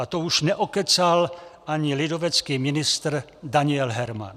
A to už neokecal ani lidovecký ministr Daniel Herman.